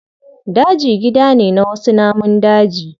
Daji gida ne na wasu namun daji.